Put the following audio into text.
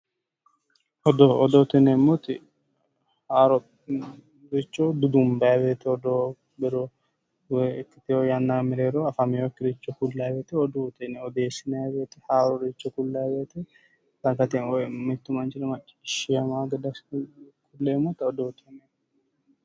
Odoo, odoote yinneemmoti haaroricho dudunbanni woyte ikkiteyo yanna giddo afaminokkiricho ku'lanni woyte odoote yinnanni, odeessinanni woyte haaroricho dagate woyi mitu manchira maccishshamano gede ku'leemmotta odoote yinneemmo